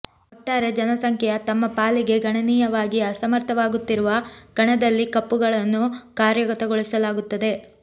ಒಟ್ಟಾರೆ ಜನಸಂಖ್ಯೆಯ ತಮ್ಮ ಪಾಲಿಗೆ ಗಣನೀಯವಾಗಿ ಅಸಮರ್ಥವಾಗುತ್ತಿರುವ ಕಣದಲ್ಲಿ ಕಪ್ಪುಗಳನ್ನು ಕಾರ್ಯಗತಗೊಳಿಸಲಾಗುತ್ತದೆ